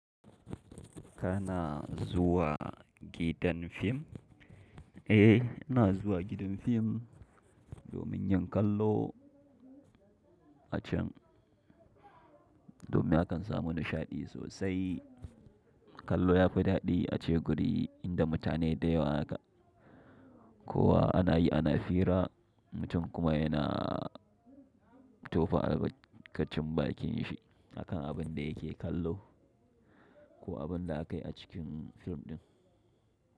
Kana zuwa gidan fim? Eh, ina zuwa gidan fim domin yin kallo a can. Domin hakan samu nishaɗi sosai. Kallo yafi daɗi a ce guri inda mutane da yawa aka. Ko wa anayi ana fira, mutum kuma yana tofa albarkacin bakin shi akan abin da yake kallo ko abin da aka yi a cikin fim din.